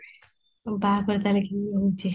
ବାହାଘର ତାହାଲେ କେଭେ ହୋଉଛି?